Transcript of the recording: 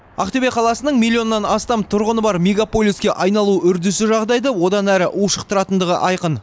ақтөбе қаласының миллионнан астам тұрғыны бар мегаполиске айналу үрдісі жағдайды одан әрі ушықтыратындығы айқын